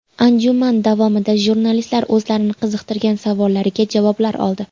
Anjuman davomida jurnalistlar o‘zlarini qiziqtirgan savollariga javoblar oldi.